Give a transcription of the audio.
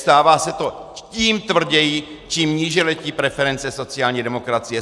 Stává se to tím tvrději, čím níže letí preference sociální demokracie.